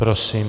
Prosím.